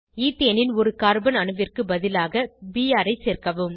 ethane ன் ஒரு carbon அணுவிற்கு பதிலாக பிஆர் ஐ சேர்க்கவும்